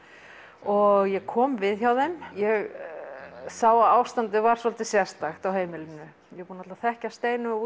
og ég kom við hjá þeim ég sá að ástandið var svolítið sérstakt á heimilinu ég var búin að þekkja Steinu og